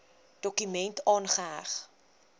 dokument aangeheg